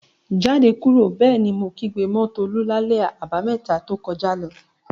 "Jáde kúrò!" Bẹ́ẹ̀ ni mo kígbe mọ́ Tolú lálẹ́ Àbàmẹ́ta to kọjá lọ.